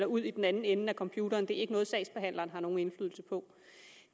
ud i den anden ende af computeren det er ikke noget sagsbehandleren har nogen indflydelse på